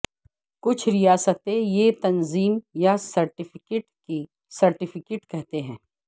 کچھ ریاستیں یہ تنظیم یا سرٹیفکیٹ کی سرٹیفکیٹ کہتے ہیں